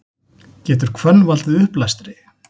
Getur hvönn valdið uppblæstri?